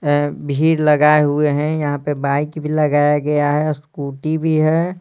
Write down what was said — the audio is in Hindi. ए भीड़ लगाए हुए हैं यहाँ पे बाइक भी लगाया गया है स्कूटी भी है।